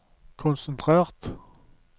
konsentrert